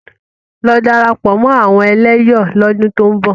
Lọ darapọ̀ mọ́ àwọn ẹlẹ́yọ̀ lọ́dún tó ń bọ̀!